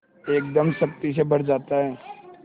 एकदम शक्ति से भर जाता है